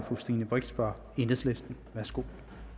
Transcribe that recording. fru stine brix fra enhedslisten værsgo